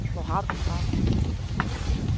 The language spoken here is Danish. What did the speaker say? Hvor har du den fra.